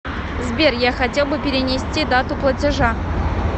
сбер я хотел бы перенести дату платежа